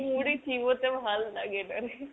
মুড়ি চিবোতে ভাল্লাগে না রে।